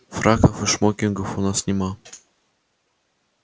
фраков и шмокингов у нас нет